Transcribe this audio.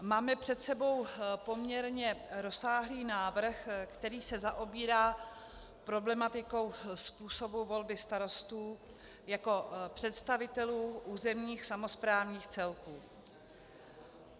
Máme před sebou poměrně rozsáhlý návrh, který se zaobírá problematikou způsobu volby starostů jako představitelů územních samosprávních celků.